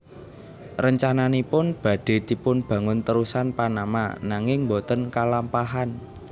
Rencananipun badhe dipunbangun terusan Panama nanging boten kalampahan